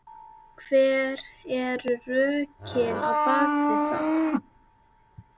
Hver eru rökin á bakvið það?